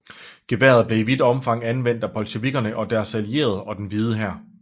Geværet blev i vidt omfang anvendt af bolsjevikkerne og deres allierede og den Hvide Hær